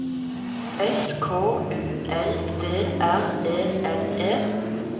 S K U L D R E N E